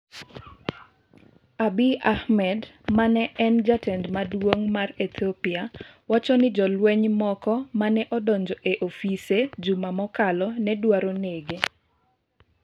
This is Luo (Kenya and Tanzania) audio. Abiy Ahmed ma en jatelo maduong ' mar Ethiopia wacho ni jolweny moko ma ne odonjo e ofise juma mokalo ne dwaro nege.